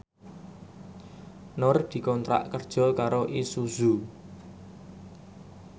Nur dikontrak kerja karo Isuzu